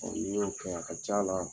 Ɔ ni n y'o kɛ a ca la.